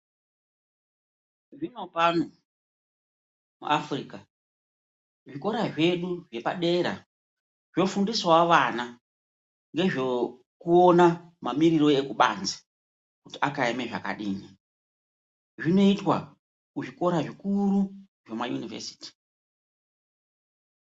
Zvino pano muAfrica zvikora zvedu zvepa dera zvofundisawo vana nezvokuona mamiriro ekubanze kuti akaeme zvakadini zvinoitwa kuzvikora zvikuru zvemayunivhesiti.